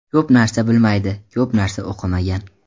Ko‘p narsa bilmaydi, ko‘p narsa o‘qimagan.